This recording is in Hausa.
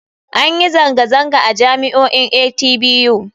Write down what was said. An yi zanga-zanga a jami'o'in atbu.